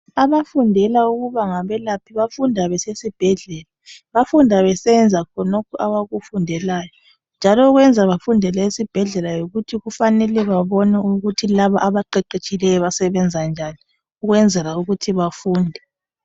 Abafundela ukuba ngabelaphi bafunda besesibhedlela bafunda besenza khonokho abakufundelayo njalo okwenza bafundele esibhedlela yikuthi kufanele babone ukuthi laba abaqeqetshileyo basebenza njani ukwenzela ukuthi bafunde.